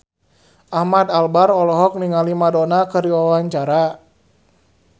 Ahmad Albar olohok ningali Madonna keur diwawancara